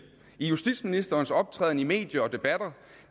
i justitsministerens optræden i medier og debatter